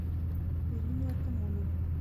ирину артамонову